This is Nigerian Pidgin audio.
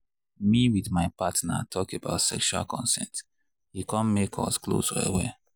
me with my partner talk about sexual consent e come make us close well well.